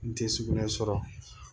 N tɛ sugunɛ sɔrɔ